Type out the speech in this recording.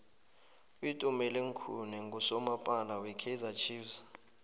utumeleng khune nqusomapala we kaizer chiefs